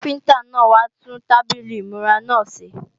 Káfíntá náà wá tún tábìlì ìmúra náà ṣe